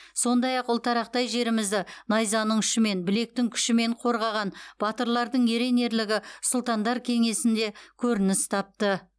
сондай ақ ұлтарақтай жерімізді найзаның ұшымен білектің күшімен қорғаған батырлардың ерен ерлігі сұлтандар кеңесінде көрініс тапты